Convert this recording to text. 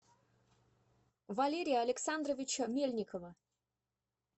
валерия александровича мельникова